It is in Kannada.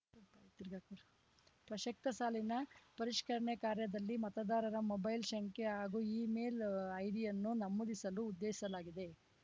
ತಿರ್ಗಾ ಪ್ರಸಕ್ತ ಸಾಲಿನ ಪರಿಷ್ಕರಣೆ ಕಾರ್ಯದಲ್ಲಿ ಮತದಾರರ ಮೊಬೈಲ್‌ ಸಂಖ್ಯೆ ಹಾಗೂ ಇಮೇಲ್‌ ಐಡಿಯನ್ನು ನಮೂದಿಸಲು ಉದ್ದೇಶಲಾಗಿದೆ